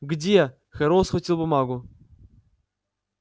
где херроуэй схватил бумагу